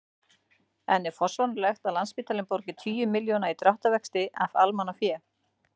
En er forsvaranlegt að Landspítalinn borgi tugi milljóna í dráttarvexti af almannafé?